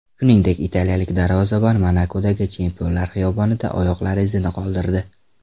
Shuningdek, italiyalik darvozabon Monakodagi chempionlar xiyobonida oyoqlari izini qoldirdi.